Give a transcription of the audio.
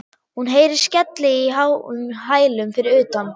Hún heyrir skelli í háum hælum fyrir utan.